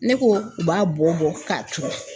Ne ko u b'a bɔ ka turu.